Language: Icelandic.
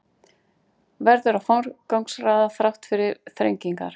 Verður að forgangsraða þrátt fyrir þrengingar